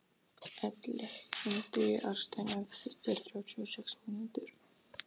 Edil, hringdu í Arnstein eftir þrjátíu og sex mínútur.